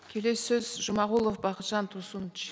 келесі сөз жұмағұлов бақытжан турсунович